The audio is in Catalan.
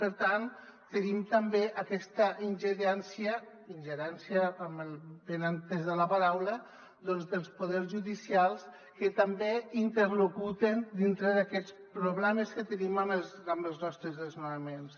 per tant tenim també aquesta ingerència ingerència amb el benentès de la paraula dels poders judicials que també interlocuten dintre d’aquests problemes que tenim amb els nostres desnonaments